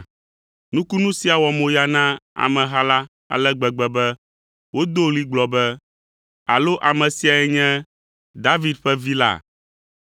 Nukunu sia wɔ moya na ameha la ale gbegbe be wodo ɣli gblɔ be, “Alo ame siae nye David ƒe Vi la?”